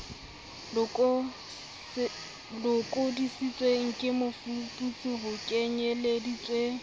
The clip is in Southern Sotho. lokodisitsweng ke mofuputsi ho kenyeleditswe